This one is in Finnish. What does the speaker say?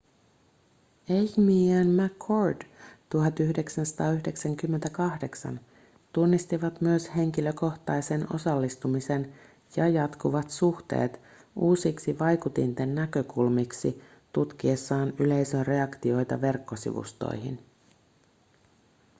eighmey ja mccord 1998 tunnistivat myös henkilökohtaisen osallistumisen ja jatkuvat suhteet uusiksi vaikutinten näkökulmiksi tutkiessaan yleisön reaktioita verkkosivustoihin